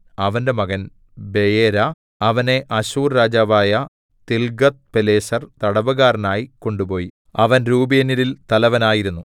അവന്റെ മകൻ ബെയേര അവനെ അശ്ശൂർ രാജാവായ തിൽഗത്ത്പിലേസർ തടവുകാരനായി കൊണ്ടുപോയി അവൻ രൂബേന്യരിൽ തലവനായിരുന്നു